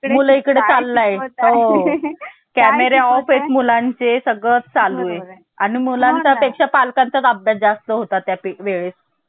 मुलीकडे चालला हो camera off मुलांचे सगळे चालू आहे आणि मुलांच्या पेक्षा पालकांच्या ताब्यात जास्त होता त्यावेळेस